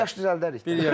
Bir yaş düzəldərik.